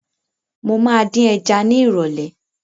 Mo ma dín ẹja ni ìrọ̀lẹ́